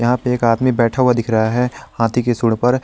यहां पे एक आदमी बैठा हुआ दिख रहा है हाथी की सूंड पर।